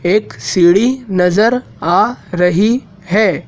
एक सीढ़ी नजर आ रही है।